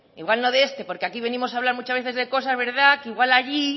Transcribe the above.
igual no de este porque aquí venimos a hablar muchas veces de cosas que igual allí